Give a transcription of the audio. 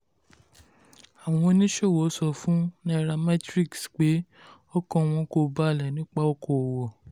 àwọn oníṣòwò sọ fún nairametrics pé ọkàn wọn kò balẹ̀ nípa okoòwò.